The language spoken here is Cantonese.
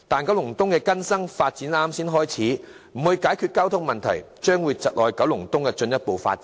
九龍東的更新發展才剛剛開始，如不解決交通問題的話，將會窒礙九龍東的進一步發展。